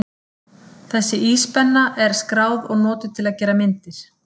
Þessi íspenna er skráð og notuð til að gera myndir.